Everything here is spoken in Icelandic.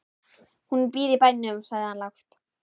Hún býr í bænum, sagði hann lágt.